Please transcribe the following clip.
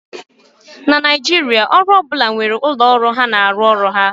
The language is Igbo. na Naijiria, ọrụ ọ bụla nwere ụlọ ọrụ ha na-arụ ọrụ ha